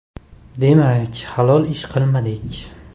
Demak, halol ish qilmadik.